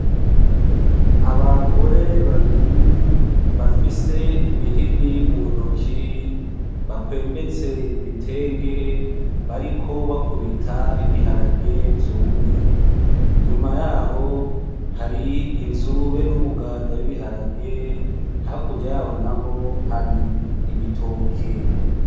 Abagore babiri bafise imihini mu ntoki bakwembetse ibitenge bariko bakubita ibiharage vyumye inzu be n'umuganda w'ibiharage hakurya yaho naho hari ibiharage.